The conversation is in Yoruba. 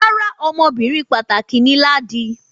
Rárá, ọmọbìnrin pàtàkì ni Ladi